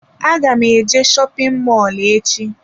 Aga m eje shopin mọlụ echi.